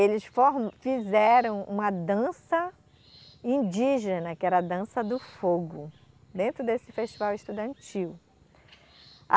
eles fizeram uma dança indígena, que era a Dança do Fogo, dentro desse festival estudantil.